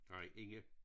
Nej Inge